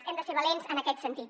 hem de ser valents en aquest sentit